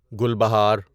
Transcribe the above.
گل بہار